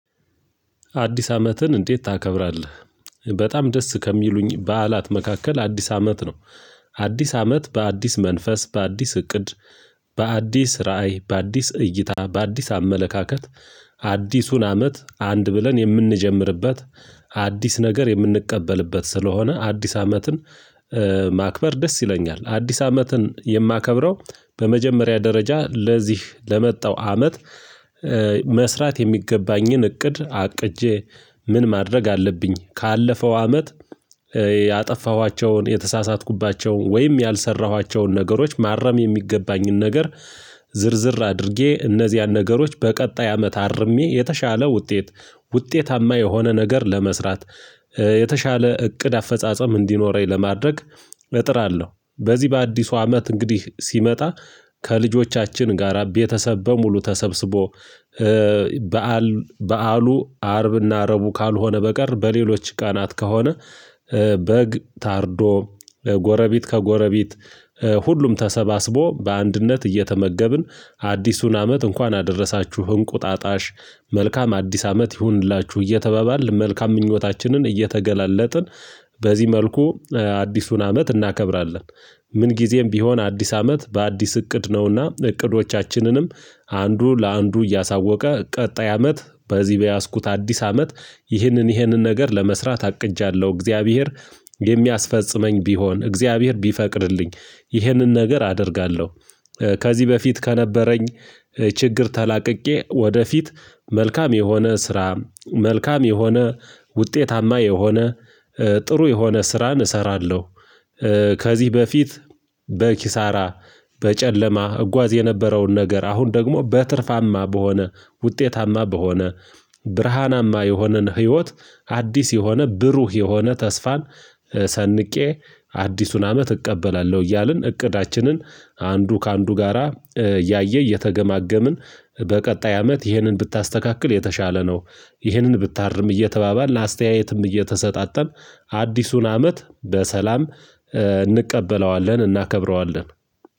አዲስ አመትን እንዴት ታከብራለህ? በጣም ደስ ከሚሉኝ በዓላት መካከል አዲስ አመት ነው። አዲስ አመት በአዲስ መንፈስ በአዲስ እቅድ በአዲስ ራዕይ በአዲስ እይታ በአዲስ አመለካከት። አዲሱን አመት አንድ ብለን የምንጀምርበት አዲስ ነገር የምንቀበልበት ስለሆነ አዲስ አመትን ማክበር ደስ ይለኛል። አዲስ አመትን የማከብረው በመጀመሪያ ደረጃ ለዚህ ለመጣው አመት መስራት የሚገባኝን እቅድ አቅጄ ምን ማድረግ አለብኝ ካለፈው አመት ያጠፋኋቸውን የተሳሳትኩባቸውን ወይም ያልሰራኋቸውን ነገሮች ማረም የሚገባኝን ነገር። ዝርዝር አድርጌ እነዚህን ነገሮች በቀጣይ አመት አርሜ የተሻለ ውጤት ውጤታማ የሆነ ነገር ለመስራት የተሻለ እቅድ አፈጻጸም እንዲኖረኝ ለማድረግ እጥራለሁ። በዚህ በአዲሱ አመት እንግዲህ ሲመጣ ከልጆቻችን ጋራ ቤተሰብ በሙሉ ተሰብስቦ በዓሉ አርብና እረቡ ካልሆነ በቀር በሌሎች ቃናት ከሆነ በግ ታርዶ ጎረቢት ከጎረቤት ሁሉም ተሰባስቦ በአንድነት እየተመገብን አዲሱን አመት እንኳን አደረሳችሁ እንቁጣጣሽ መልካም አዲስ አመት ይሁንላችሁ እየተባባል መልካም ምኞታችንን እየተገላለጥን በዚህ መልኩ አዲሱን አመት እናከብራለን። ምን ጊዜም ቢሆን አዲስ አመት በአዲስ እቅድ ነውና እቅዶቻችንንም አንዱ ለአንዱ እያሳወቀ ቀጣይ አመት በዚህ በያዝኩት አዲስ አመት ይህንን ይህንን ነገር ለመስራት አቅጃለሁ እግዚአብሔር የሚያስፈጽመኝ ቢሆን እግዚአብሔር ቢፈቅድልኝ ይህንን ነገር አደርጋለሁ። ከዚህ በፊት ከነበረኝ ችግር ተላቅቄ ወደፊት መልካም የሆነ ስራ መልካም የሆነ ውጤታማ የሆነ ጥሩ የሆነ ስራን እሰራለሁ። ከዚህ በፊት በኪሳራ በጨለማ እጓዝ የነበረውን ነገር አሁን ደግሞ በትርፋማ በሆነ ውጤታማ በሆነ ብርሃናማ የሆነን ህይወት አዲስ የሆነ ብሩህ የሆነ ተስፋን ሰንቄ አዲሱን አመት እቀበላለሁ። እያልን እቅዳችንን አንዱ ከአንዱ ጋራ እያየ እየተገማገምን በቀጣይ አመት ይህንን ብታስተካክል የተሻለ ነው ይህንን ብታርም እየተባባልን አስተያየትም እየተሰጣጠን አዲሱን አመት በሰላም እንቀበለዋለን እናከብረዋለን።